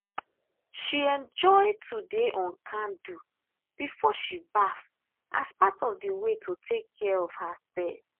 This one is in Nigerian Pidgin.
she enjoy to dey on candle before she baff as part of the way to take care of herself.